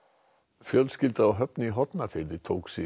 fjölskylda á Höfn í Hornafirði tók sig